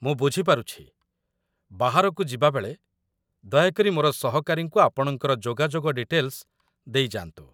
ମୁ ବୁଝି ପାରୁଛି। ବାହାରକୁ ଯିବାବେଳେ ଦୟାକରି ମୋର ସହକାରୀଙ୍କୁ ଆପଣଙ୍କର ଯୋଗାଯୋଗ ଡିଟେଲ୍‌ସ ଦେଇଯାଆନ୍ତୁ।